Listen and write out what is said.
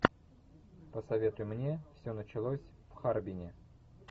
посоветуй мне все началось в харбине